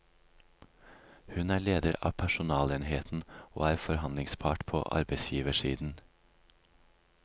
Hun er leder av personalenheten og er forhandlingspart på arbeidsgiversiden.